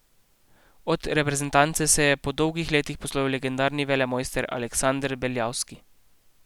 Od reprezentance se je po dolgih letih poslovil legendarni velemojster Aleksander Beljavski.